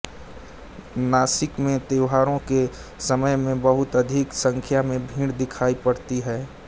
नाशिक में त्योहारों के समय में बहुत अधिक संख्या में भीड़ दिखाई पड़ती है